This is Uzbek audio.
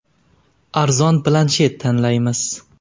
Arzon planshet tanlaymiz.